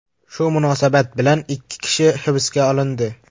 Shu munosabat bilan ikki kishi hibsga olindi.